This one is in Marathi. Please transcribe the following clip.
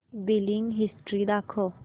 बिलिंग हिस्टरी दाखव